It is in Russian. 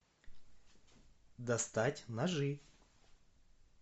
достать ножи